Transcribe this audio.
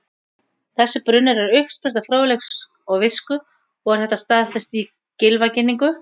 Þessi brunnur er uppspretta fróðleiks og visku og er þetta staðfest í Gylfaginningu: